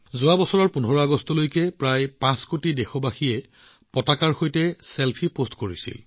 যোৱা বছৰ ১৫ আগষ্টলৈকে প্ৰায় ৫ কোটি দেশবাসীয়ে ত্ৰিৰংগাৰ সৈতে ছেলফি পোষ্ট কৰিছিল